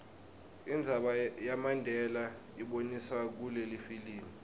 indzaba yamandela iboniswe kulelifilimu